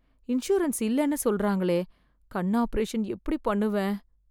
Insurance இல்லன்னு சொல்றாங்களே கண் ஆபரேஷன் எப்படி பண்ணுவேன்.